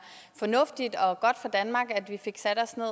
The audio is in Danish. fornuftigt og godt for danmark at vi fik sat os ned